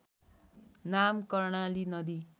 नाम कर्णाली नदी